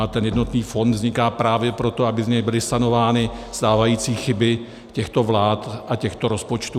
A ten jednotný fond vzniká právě proto, aby z něj byly sanovány stávající chyby těchto vlád a těchto rozpočtů.